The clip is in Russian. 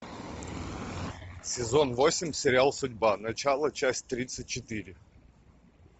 сезон восемь сериал судьба начало часть тридцать четыре